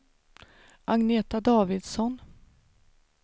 Agneta Davidsson